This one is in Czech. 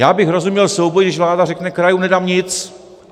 Já bych rozuměl souboji, když vláda řekne: Krajům nedám nic!